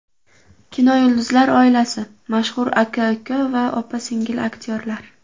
Kinoyulduzlar oilasi: Mashhur aka-uka va opa-singil aktyorlar .